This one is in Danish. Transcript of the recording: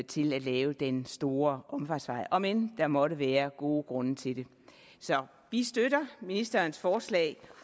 til at lave den store omfartsvej om end der måtte være gode grunde til det så vi støtter ministerens forslag